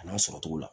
A n'a sɔrɔ cogo la